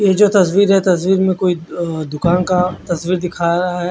ये जो तस्वीर है तस्वीर में जो कोई दूकान का तस्वीर दिखरा है।